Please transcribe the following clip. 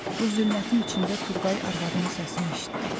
Bu zülmətin içində Turqay arvadının səsini eşitdi.